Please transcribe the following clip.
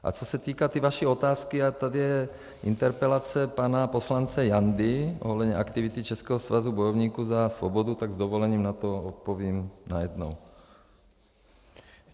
A co se týká té vaší otázky, a tady je interpelace pana poslance Jandy ohledně aktivity Českého svazu bojovníků za svobodu, tak s dovolením na to odpovím najednou.